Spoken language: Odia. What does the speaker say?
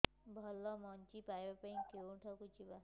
ଭଲ ମଞ୍ଜି ପାଇବା ପାଇଁ କେଉଁଠାକୁ ଯିବା